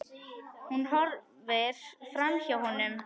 Hún horfir framhjá honum.